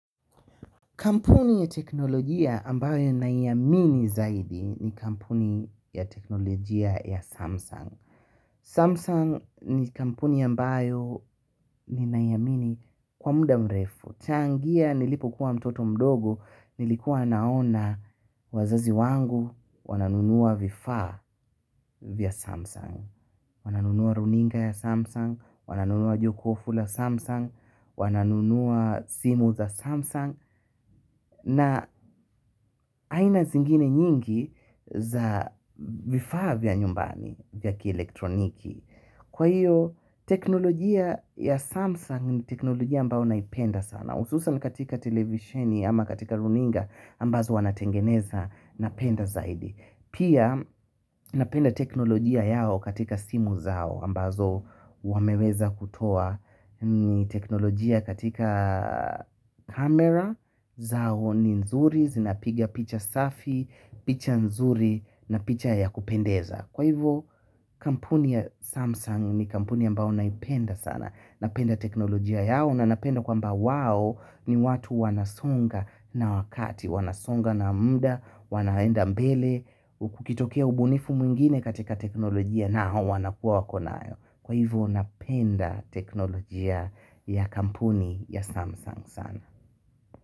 Kampuni ya teknolojia ambayo naiamini zaidi ni kampuni ya teknolojia ya Samsung. Samsung ni kampuni ambayo ni naiamini kwa muda mrefu. Kuanzia nilipokuwa mtoto mdogo, nilikuwa naona wazazi wangu wananunua vifaa vya Samsung. Wananunua runinga ya Samsung, wananunua jokofu la Samsung, wananunua simu za Samsung. Na aina zingine nyingi za vifaa vya nyumbani ya kielektroniki kwa hiyo teknolojia ya Samsung ni teknolojia ambayo naipenda sana, hususan katika televisheni ama katika runinga ambazo wanatengeneza, napenda zaidi. Pia napenda teknolojia yao katika simu zao ambazo wameweza kutoa ni teknolojia katika kamera zao ni nzuri, zinapigia picha safi, picha nzuri na picha ya kupendeza kwa hivyo kampuni ya Samsung ni kampuni ambayo naipenda sana. Napenda teknolojia yao na napenda kwamba wao ni watu wanaosonga na wakati. Wanasonga na muda, wanaenda mbele, kukitokea ubunifu mwingine katika teknolojia na hao wanakuwa wanayo. Kwa hivyo napenda teknolojia ya kampuni ya Samsung sana.